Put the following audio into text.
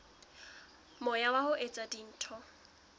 moya wa ho etsa dintho